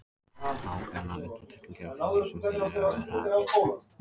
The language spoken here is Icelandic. Ákveðnar undantekningar eru frá því sem hér hefur verið rakið.